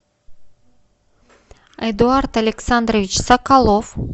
эдуард александрович соколов